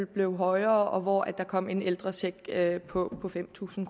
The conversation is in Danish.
blev højere og hvor der kom en ældrecheck på fem tusind